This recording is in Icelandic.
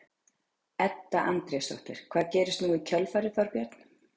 Edda Andrésdóttir: Hvað gerist nú í kjölfarið Þorbjörn?